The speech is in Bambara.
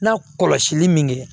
N'a kɔlɔsili min kɛ